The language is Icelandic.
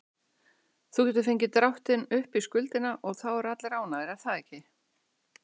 Þú getur fengið dráttinn upp í skuldina og þá eru allir ánægðir, er það ekki?